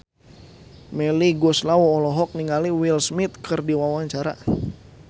Melly Goeslaw olohok ningali Will Smith keur diwawancara